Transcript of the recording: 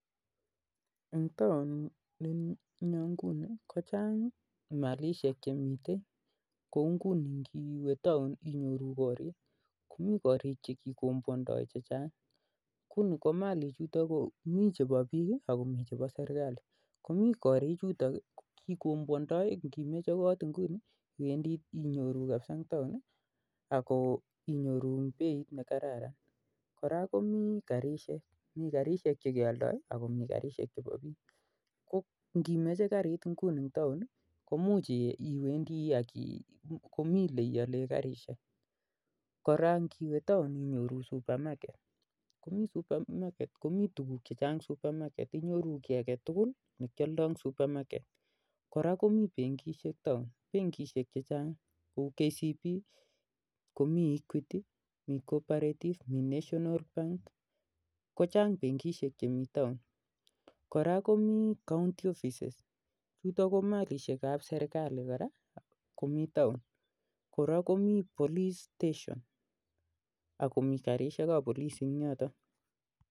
Korok komii malishek chechang kouu korik che kikombwondoi ak chemenye biik koraa komii garishek mii benkishek mii kappolice akomii korik ap kaonti